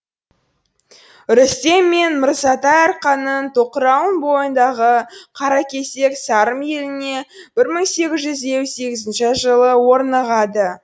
рүстем мен мырзатай арқаның тоқырауын бойындағы қаракесек сарым еліне бір мың сегіз жүз елу сегізінші жылы орнығады